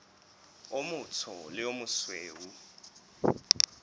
o motsho le o mosweu